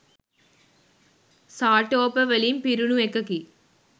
සාටෝප වලින් පිරුණු එකකි